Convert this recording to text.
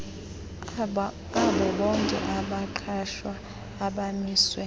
abobonke abagqatswa abamiswe